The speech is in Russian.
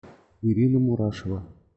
ирина мурашева